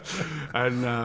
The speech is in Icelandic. en